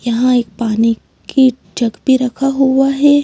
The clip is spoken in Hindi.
यहाँ एक पानी की जग भी रखा हुआ है।